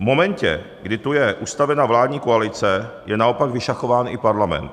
V momentě, kdy tu je ustavena vládní koalice, je naopak vyšachován i parlament.